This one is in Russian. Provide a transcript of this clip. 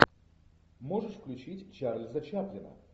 можешь включить чарльза чаплина